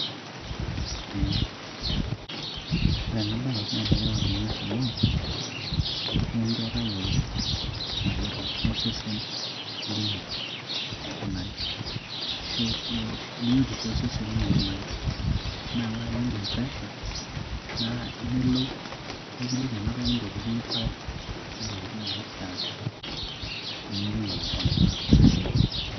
um Ore ena bae na enetipat tinias amu nikincho tayiolou enegira aiko osesen lino aikunari, ashu biotisho osesen lino aikunari. Naa ore ake teniimpim presha naa iyiolou naa kiliki ena toki intokitin nipal o ntokitin naishaa nintoki apona to sesen.